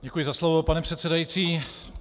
Děkuji za slovo, pane předsedající.